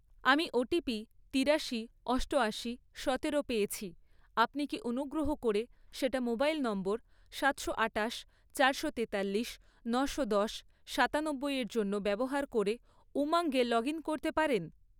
আমি ওটিপি তিরাশি , অষ্টয়াশি, সতেরো পেয়েছি, আপনি কি অনুগ্রহ করে সেটা মোবাইল নম্বর সাতশো আঠাশ, চারশো তেতাল্লিশ, নশো দশ, সাতানব্বই এর জন্য ব্যবহার করে উমঙ্গ এ লগ ইন করতে পারেন?